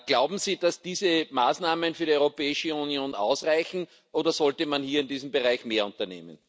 Glauben Sie, dass diese Maßnahmen für die Europäische Union ausreichen, oder sollte man hier in diesem Bereich mehr unternehmen?